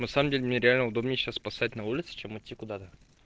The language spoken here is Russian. на самом деле мне реально удобней сейчас посцать на улице чем идти куда-то